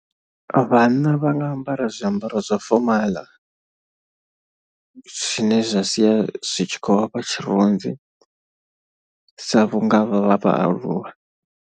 Vhanna vha nga ambara zwiambaro zwa fomaḽa, zwine zwa sia zwi tshi khou vha fha tshirunzi sa vhunga vha vhaaluwa.